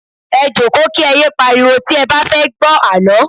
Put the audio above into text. Ẹ jókòó kí ẹ yé pariwo tí ẹ bá fẹ́ gbọ́ àlọ́